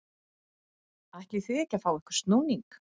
ætlið þið ekki að fá ykkur snúning?